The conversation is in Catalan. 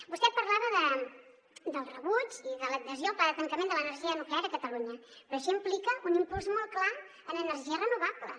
vostè parlava del rebuig i de l’adhesió al pla de tancament de l’energia nuclear a catalunya però això implica un impuls molt clar en energies renovables